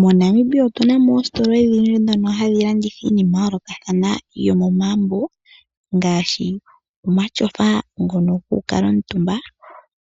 MoNamibia otu na ositola odhi dhono hadhi landitha iinima oyindji yomomagumbo ngaashi omatyofa ngono goku kala omutumba ,